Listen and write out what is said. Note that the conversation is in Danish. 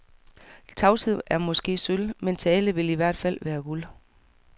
Tavshed er måske sølv, men tale vil i hvert fald være guld.